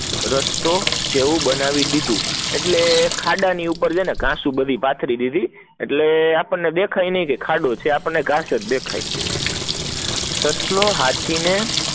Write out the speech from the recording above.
રસ્સ્તો છે એવું બનાવી દીધું એટલે ખાડા ની ઉપર ઘાસ પઠતિ દીધું, એટલે આપદને દેખાય નહીં ખાડો છે આપદને ઘાસ દેખાત સસલો હાથી ને